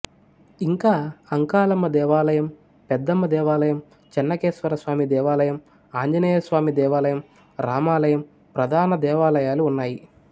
ఇంకా అంకాలమ్మదేవాలయం పెద్దమ్మ దేవాలయం చెన్నకేశవస్వామిదేవాలయం ఆంజనేయస్వామి దేవాలయం రామాలయం ప్రధానదేవాలయాలు ఉన్నాయి